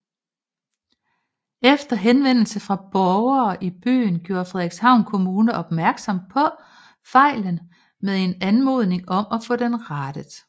Efter henvendelse fra borgere i byen gjorde Frederikshavn Kommune opmærksom på fejlen med en anmodning om at få denne rettet